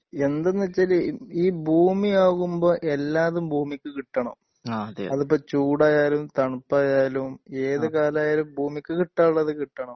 എന്താന്ന് വെച്ചാല് ഈ ഭൂമി ആകുമ്പോ എല്ലാതും ഭൂമിക്ക് കിട്ടണം അതിപ്പോ ചൂടായാലും തണുപ്പായാലും ഏതു കാലായാലും ഭൂമിക്ക് കിട്ടാനുള്ളത് കിട്ടണം